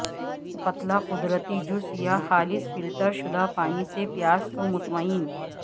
پتلا قدرتی جوس یا خالص فلٹر شدہ پانی سے پیاس کو مطمئن